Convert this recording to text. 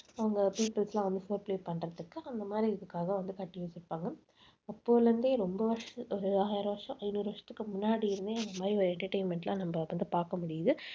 அவங்க peoples எல்லாம் வந்து பண்றதுக்கு அந்த மாதிரி இதுக்காக வந்து கட்டி வச்சிருப்பாங்க. அப்போல இருந்தே ரொம்ப வருஷ~ ஒரு ஆயிரம் வருஷம் ஐநூறு வருஷத்துக்கு முன்னாடி இருந்தே இந்த மாதிரி ஒரு entertainment எல்லாம் நம்ம வந்து பார்க்க முடியுது.